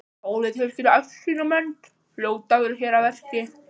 Pólitískir æsingamenn hljóta að vera hér að verki.